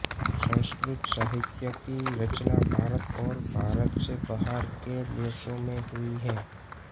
संस्कृत साहित्य की रचना भारत और भारत से बाहर के देशों में हुई है